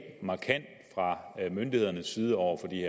fra myndighedernes side over for de